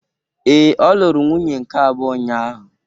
Ee, ọ lụrụ nwunye nke abụọ ụnyahụ.